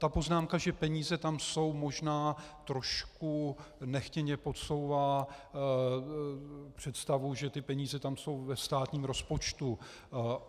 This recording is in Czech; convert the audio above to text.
Ta poznámka, že peníze tam jsou, možná trošku nechtěně podsouvá představu, že ty peníze tam jsou ve státním rozpočtu.